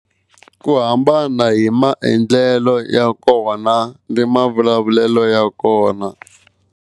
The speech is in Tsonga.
Ku hambana hi maendlelo ya kona ni mavulavulelo ya kona.